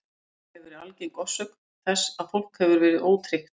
Þetta hefur verið algeng orsök þess að fólk hefur verið ótryggt.